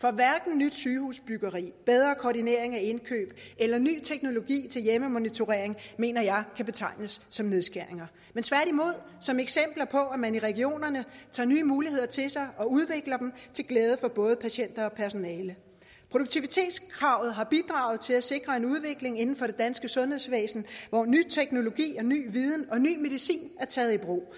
for hverken nyt sygehusbyggeri bedre koordinering af indkøb eller ny teknologi til hjemmemonitorering mener jeg kan betegnes som nedskæringer men tværtimod som eksempler på at man i regionerne tager nye muligheder til sig og udvikler dem til glæde for både patienter og personale produktivitetskravet har bidraget til at sikre en udvikling inden for det danske sundhedsvæsen hvor ny teknologi og ny viden og ny medicin er taget i brug